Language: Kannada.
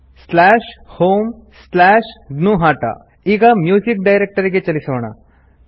homegnuhata narration slash home slash gnuhata ಈಗ ಮ್ಯೂಸಿಕ್ ಡೈರೆಕ್ಟರಿಗೆ ಚಲಿಸೋಣ